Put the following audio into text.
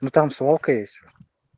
ну там свалка есть